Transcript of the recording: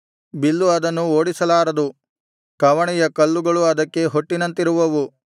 bill ಅದನ್ನು ಓಡಿಸಲಾರದು ಕವಣೆಯ ಕಲ್ಲುಗಳು ಅದಕ್ಕೆ ಹೊಟ್ಟಿನಂತಿರುವವು